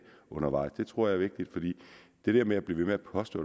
undervejs det tror jeg er vigtigt fordi det med at blive ved med at påstå